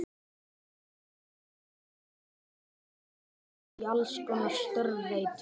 Þeir þurfa heilmikinn mannskap á næstunni í allskonar störf, veit ég.